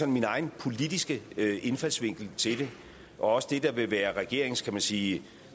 min egen politiske indfaldsvinkel til det og også det der vil være regeringens kan man sige